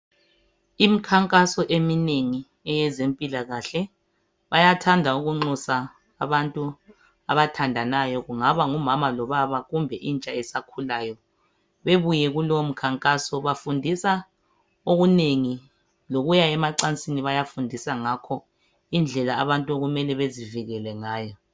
imkhankaso eminengi eyezempilakahle bayathanda ukunxusa abantu abathandanayo kungaba ngumama lo baba kumbe intsha esakhulayo bebuye kulo mkhankaso bafundisa okunengi lokuya emacansini bayafundisa ngakho indlela abantu okumele bezivikele ngayo